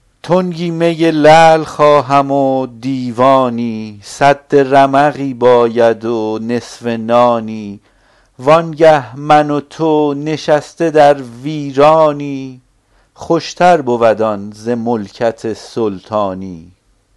تنگی می لعل خواهم و دیوانی سد رمقی باید و نصف نانی وانگه من و تو نشسته در ویرانی خوشتر بود آن ز ملکت سلطانی